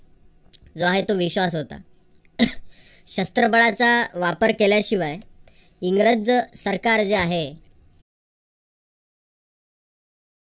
जो आहे तो विश्वास होता. शस्त्र बळाचा वापर केल्याशिवाय इंग्रज सरकार जे आहे.